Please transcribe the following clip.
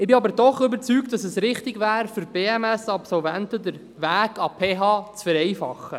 Dennoch bin ich überzeugt, dass es richtig wäre, für BMS-Absolventen den Weg an die PH zu vereinfachen.